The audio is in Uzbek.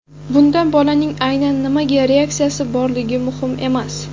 Bunda bolaning aynan nimaga reaksiyasi borligi muhim emas.